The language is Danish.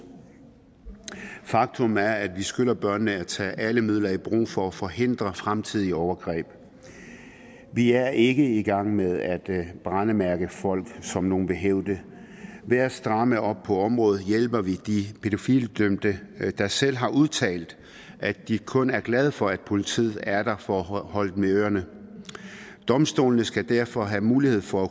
faktum er at vi skylder børnene at tage alle midler i brug for at forhindre fremtidige overgreb vi er ikke i gang med at brændemærke folk som nogle vil hævde ved at stramme op på området hjælper vi de pædofilidømte der selv har udtalt at de kun er glade for at politiet er der for at holde dem i ørerne domstolene skal derfor have mulighed for at